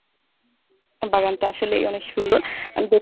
বাগানটা আসলেই অনেক সুন্দর